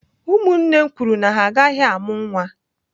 Ụmụnne m kwuru na ha agaghị amụ nwa.